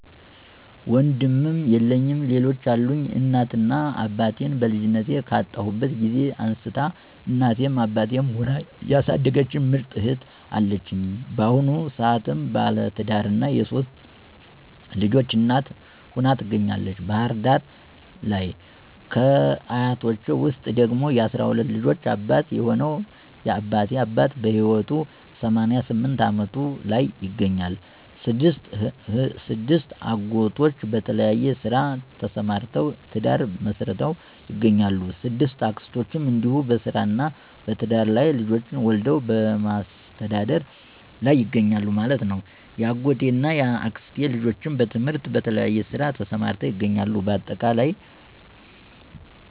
ወንድም የለኝም ሌሎች አሉኝ፦ እናት እና አባቴን በልጅነቴ ካጣሁበት ጊዜ አንስታ እናትም አባትም ሁና ያሣደገችኝ ምርጥ እህት አለችኝ። ባሁኑ ሰአትም ባለትዳርና የሶስት ልጆች እናት ሁና ትገኛለተች ባህር ዳር ለይ። ከ አያቶቸ ውስጥ ደግሞ የ12 ልጆች አባት የሆነው የ አባቴ አባት በህይወት 88 አመቱ ላይ ይገኛል። 6አጎቶቼ በተለያየ ስራ ተሰማርተውተ፤ ትዳር መሥርተው ይገኛሉ።። 6አክስቶቸም እንዲሁ በስራ እና በትዳር ላይ ልጆች ወልደው በማሥተዳደር ላይ ይገኛሉ ማለት ነው። ያጎት እና ያክስቴ ልጆችም በትምህርትና በተለያየ ስራ ተሰማርተው ይገኛሉ ባጠቃላይ።